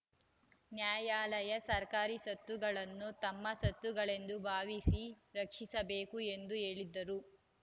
ನ್ಯಾಯಾಲಯ ಸರ್ಕಾರಿ ಸ್ವತ್ತುಗಳನ್ನು ತಮ್ಮ ಸ್ವತ್ತುಗಳೆಂದು ಭಾವಿಸಿ ರಕ್ಷಿಸಬೇಕು ಎಂದು ಹೇಳಿದರು